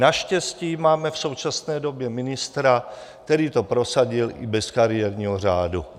Naštěstí máme v současné době ministra, který to prosadil i bez kariérního řádu.